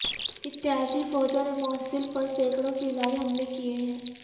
اتحادی فوجوں نے موصل پر سینکڑوں فضائی حملے کیے ہیں